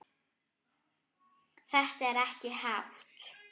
Þetta er ekkert hátt.